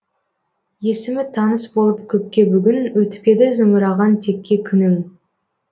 есімі таныс болып көпке бүгін өтпеді зымыраған текке күнің